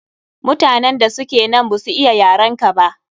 Mutanen da suke nan ba su iya yarenka ba.